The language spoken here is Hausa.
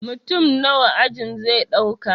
Mutum nawa ajin zai ɗauka